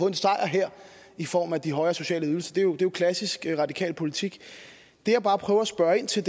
en sejr her i form af de højere sociale ydelser det er jo klassisk radikal politik det jeg bare prøver at spørge ind til